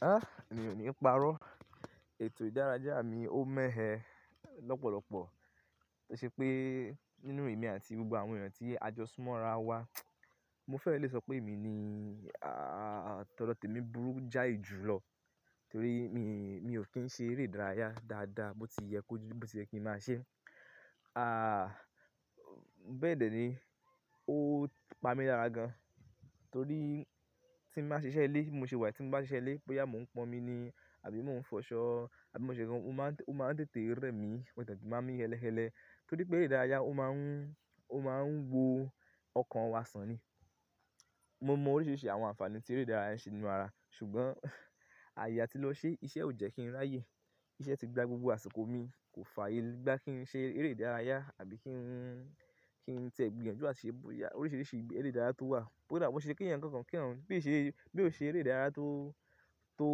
Ah! Èmi ò ní parọ́. Ètò ìdárayá mi ó mẹ̀ẹ́ lọ́pọ̀lọpọ̀ tó ṣe pé nínú èmi àti gbogbo àwọn èèyàn tí a jọ súnmọ́ ara wa, mo fẹ́ lè sọ pé èmi ni tọ dọ temí burú jáì ju lọ torí mi, mi ò kí ń ṣe eré ìdárayá dáadáa bó ti yẹ kó ju bó ti yẹ kí ń máa ṣẹ́. Bẹ́ẹ̀ dẹ̀ ni, ó pa mí lára gan torí tí màá ṣe iṣẹ́ ilé, mo ṣe wà tí màá ṣe iṣẹ́ ilé pé ìyá mo ń pọn omi ni àbí mo ń fọṣọ àbí mo ṣe nǹkan, ó máa ń tẹ̀tè rẹ́ mi, mò tètè màá mí ẹ́lẹ̀-ẹ́lẹ̀ torí pé eré ìdárayá ó máa ń, ó máa ń wo ọkàn wa sàn ni. Mo mọ oríṣiríṣi àwọn àǹfààní tí eré ìdárayá ṣe nínú ara ṣùgbọ́n, ààyè à tí lọ ṣe iṣẹ́ ò jẹ́ kí n ráyè. Iṣẹ́ tí gba gbogbo àsìkò mi kò fàyè gbá kí n ṣe eré ìdárayá àbí kí n, kí n tẹ gbìyànjú ati ṣẹ boya oríṣiríṣi ìgbé eré ìdárayá tó wà. Kódà bó ṣe kí ènìyàn kan kankan kí ọ̀un bí ì ṣe, bí ò ṣe eré ìdárayá tó, tó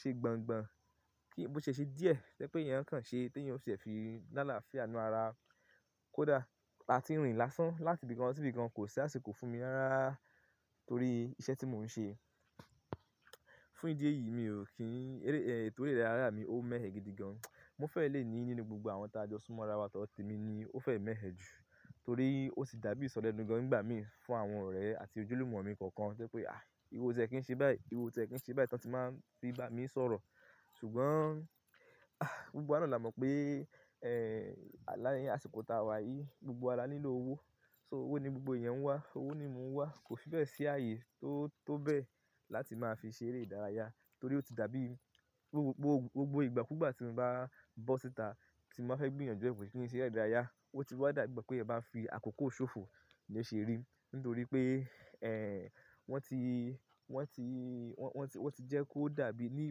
ṣe gbangba kí, bó ṣe ṣé díẹ̀ tẹ́ pé èyàn kan ṣe tí èyàn ò ṣe fi la alafia ninú ara kó dà. A ti rìn lásán láti ibìkan sí ibìkan kò sí àsìkò fún mi rárá torí iṣẹ́ tí mò ń ṣe. Fún ìdí èyí mi ò kí ń eré, ẹtọ eré ìdárayá mi ó mẹ̀ẹ́ gidi gan. Mo fẹ́ lè ní nínú gbogbo àwọn tí a jọ súnmọ́ ara wa tọdọ te mí ni ó fẹ́ mẹ̀ẹ́ ju torí ó sì dàbí ìsọlẹnu gan nígbà mìíràn fún àwọn ọ̀rẹ́ àti ojúlùmọ̀ mi kọ̀ọ̀kan ṣẹ́ pé, Íwọ o tiẹ kí ń ṣe bai, ìwọ o tiẹ kí ń ṣe bai" to ti máa n fi bá mi sọ̀rọ̀. Ṣùgbọ́n, Gbogbo wa náà la mọ̀ pé, l'áàyè àsìkò ta wà yìí gbogbo wa la nílò owó. So owó ni gbogbo ẹ̀yàn ń wá, owó ni mò ń wá kò fi fẹ́ bẹ́ si ààyè tó, tó bẹ́ẹ̀ láti máa fi ṣe eré ìdárayá torí ó ti dàbí gbogbo, gbogbo, gbogbo ìgbà kú gbà tí mo bá bọ́ síta tí màá fẹ́ gbìyànjú ẹ̀kọ́ kí n ṣe eré ìdárayá ó ti wá dàgbẹ̀ pé ẹ bá fi àkókò ṣòfò lo ṣeri nítorí pé, wọ́n ti, wọ́n ti, wọ́n ti, wọ́n ti jẹ́ kó dàbí ní,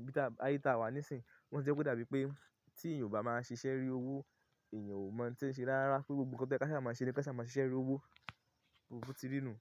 ibi táa, ààyè táa wà nísìnyìí wọ́n ti jẹ́ kó dàbí pé tí èèyàn ò bá máa ṣiṣẹ́ rí owó èèyàn ò mọ̀ tí ń ṣe rárá pé gbogbo nǹkan tí ẹ ká ṣe máa ṣe rí, ẹ ká ṣe máa ṣiṣẹ́ rí owó bo ti rí nùu.